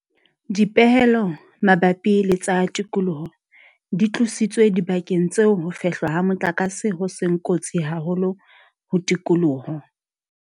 Dipehelo mabapi le tsa tikoloho di tlositswe dibakeng tseo ho fehlwa ha motlakase ho seng kotsi haholo ho tikoloho.